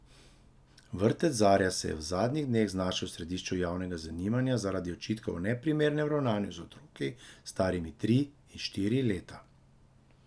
Vrtec Zarja se je v zadnjih dneh znašel v središču javnega zanimanja zaradi očitkov o neprimernem ravnanju z otroki, starimi tri in štiri leta.